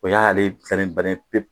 O y'ale sannen bannen ye pewu.